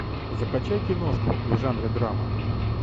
закачай киношку в жанре драма